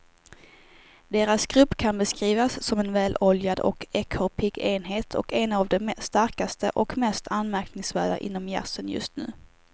Deras grupp kan beskrivas som en väloljad och ekorrpigg enhet och en av de starkaste och mest anmärkningsvärda inom jazzen just nu.